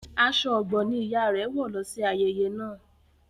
Aṣọ Ọ̀gbọ ni ìyá rẹ wọ lọ sí ayẹyẹ naa.